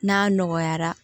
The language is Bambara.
N'a nɔgɔyara